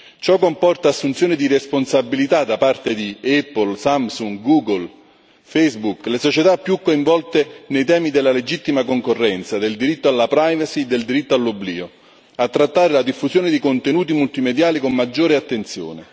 Ciò comporta assunzione di responsabilità da parte di Apple, Samsung, Google e Facebook, le società più coinvolte nei temi della legittima concorrenza, del diritto alla privacy del diritto all'oblio, a trattare la diffusione di contenuti multimediali con maggiore attenzione.